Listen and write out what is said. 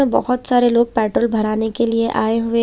यहाँ पर बहुत सारे लोग पेट्रोल भराने के लिए आए हुए--